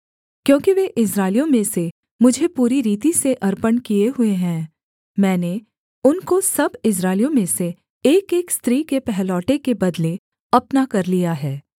क्योंकि वे इस्राएलियों में से मुझे पूरी रीति से अर्पण किए हुए हैं मैंने उनको सब इस्राएलियों में से एकएक स्त्री के पहलौठे के बदले अपना कर लिया है